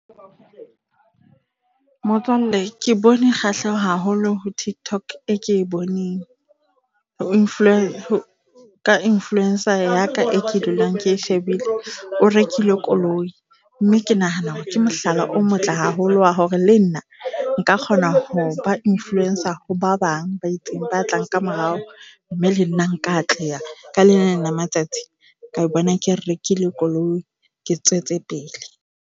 Motswalle, ke bone kgahleho haholo ho TikTok, e ke boneng ka influencer ya ka e ke dulang ke e shebile. O rekile koloi mme ke nahana ke mohlala o motle haholo hore le nna nka kgona ho ba influence ho ba bang ba itseng, ba tlang ka morao. Mme le nna nka atleha ka le leng la matsatsi ka bona ke rekile koloi, ke tswetse pele.